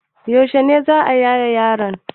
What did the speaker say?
Yaushe ne za a yaye yaron?